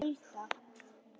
Og að krókna úr kulda.